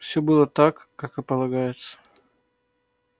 всё было так как и полагается